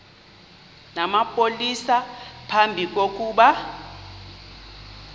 namapolisa phambi kokuba